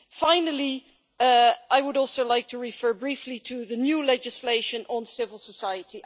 Finally, I would like to refer briefly to the new legislation on civil society.